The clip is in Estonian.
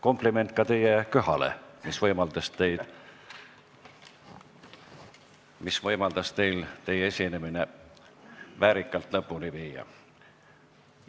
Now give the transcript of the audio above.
Kompliment ka teie köhale, mis võimaldas teil teie esinemise siiski väärikalt lõpule viia.